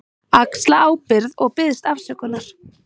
Axla ábyrgð og biðst afsökunar.